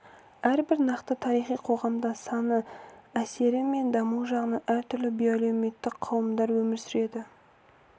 әрбір нақты тарихи қоғамда саны әсері мен дамуы жағынан әртүрлі биоәлеуметтік қауымдар өмір сүреді